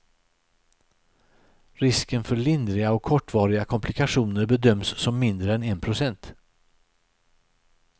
Risken för lindriga och kortvariga komplikationer bedöms som mindre än en procent.